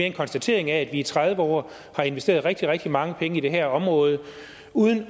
en konstatering af at vi i tredive år har investeret rigtig rigtig mange penge i det her område uden